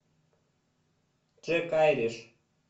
джек айриш